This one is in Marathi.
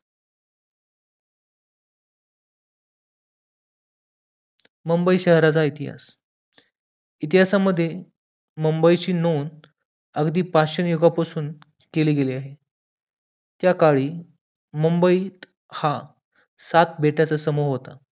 मुंबई शहराचा इतिहास, इतिहासामध्ये मुंबई ची नोंद अगदी पाषाण युगापासून केले गेले आहे त्याकाळी मुंबई हा सात बेटाचा समूह होता